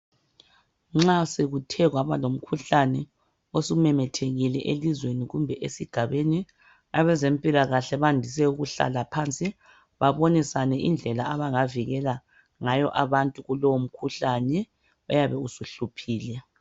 nxa sekuthe kwaba lomkhuhlane osumemethekile elizweni kumbe esigabeni abezempilakahle bandise ukuhlala phansi babonisane indlela abangavikela ngayo abantu kulowo mkhuhlane oyabe usuhluphile